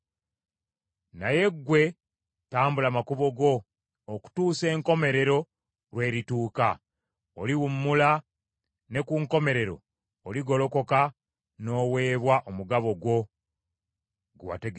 “Naye ggwe tambula makubo go okutuusa enkomerero lwe lituuka. Oliwummula, ne ku nkomerero oligolokoka n’oweebwa omugabo gwo gwe wategekerwa.”